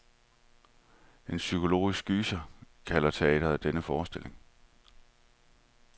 En psykologisk gyser, kalder teatret denne forestilling.